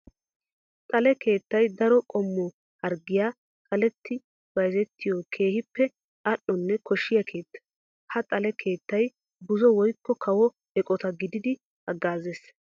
Xale keettay daro qommo harggiya xaletti bayzzettiyo keehippe ali'onne koshiya keetta. Ha xale keettay buzo woykko kawo eqotta gididdi hagaazes.